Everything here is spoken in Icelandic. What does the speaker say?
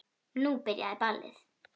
Nú byrjaði ballið.